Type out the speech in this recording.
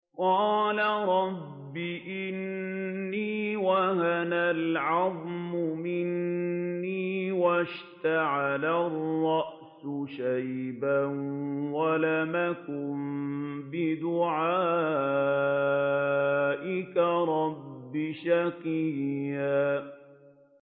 قَالَ رَبِّ إِنِّي وَهَنَ الْعَظْمُ مِنِّي وَاشْتَعَلَ الرَّأْسُ شَيْبًا وَلَمْ أَكُن بِدُعَائِكَ رَبِّ شَقِيًّا